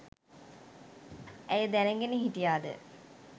ඇය දැනගෙන හිටියාද?